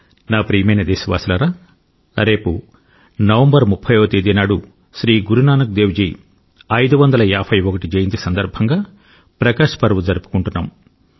నా ప్రియమైన దేశవాసులారా రేపు నవంబర్ 30వ తేదీనాడు శ్రీ గురు నానక్ దేవ్ జీ 551 వ జయంతి సందర్భంగా ప్రకాశ్ పర్వ్ జరుపుకుంటున్నాం